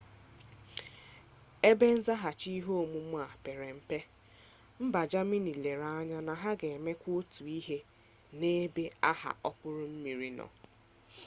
ebe nzaghachi ihe omume a pere mpe mba jamini lere anya na a ga emekwa otu ihe n'ebe agha okpuru mmiri nọ